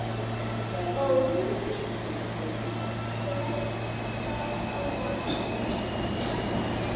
Ó, skvetta á vatni.